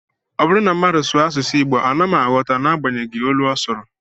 Ọ bụrụ na mmadụ sụọ asụsụ Igbo, ana m aghọta n'agbanyeghị olu ọ sụrụ